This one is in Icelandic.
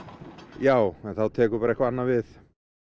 já en þá tekur bara eitthvað annað við